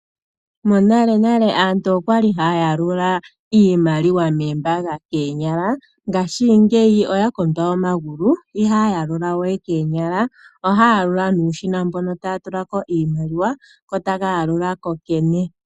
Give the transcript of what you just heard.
Monalenale aanru okwa li haya yalula iimaliwa moombaanga koonyala, ngashingeyi oya kondwa omagulu. Ihaya yalula we koonyala, ohaya yalula nuushina mboka taya tula ko iimaliwa ko otaka yalula kokene.